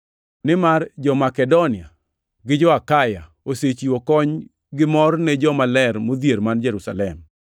Nimar jo-Makedonia gi jo-Akaya osechiwo kony gimor ne jomaler modhier man Jerusalem.